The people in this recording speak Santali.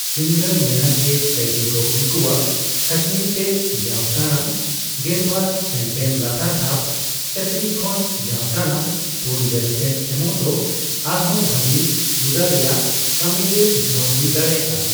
ᱯᱷᱤᱝᱜᱟᱨ ᱢᱮᱱᱟ ᱡᱮ ᱠᱟᱹᱭᱫᱤ ᱠᱚ ᱩᱱᱠᱩᱣᱟᱜ ᱠᱷᱟᱹᱴᱱᱤ ᱛᱮ ᱡᱟᱣ ᱴᱟᱲᱟᱝ ᱜᱮᱞᱵᱟᱨ ᱥᱮᱱᱴ ᱮᱢ ᱞᱟᱛᱟᱨ ᱫᱷᱟᱯ ᱪᱟᱹᱠᱨᱤ ᱠᱷᱚᱱ ᱡᱟᱣ ᱴᱟᱲᱟᱝ ᱯᱩᱱᱜᱮᱞ ᱥᱮᱱᱴ ᱮᱢᱚᱜ ᱫᱚ ᱟᱨᱦᱚᱸ ᱵᱷᱟᱜᱤ ᱦᱩᱫᱟᱹ ᱨᱮᱭᱟᱜ ᱠᱟᱹᱢᱤ ᱨᱮ ᱩᱛᱱᱟᱹᱣ ᱦᱩᱭ ᱫᱟᱲᱮᱭᱟᱜᱼᱟ ᱾